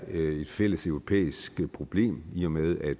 et fælles europæisk problem i og med at